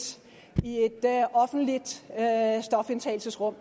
offentligt stofindtagelsesrum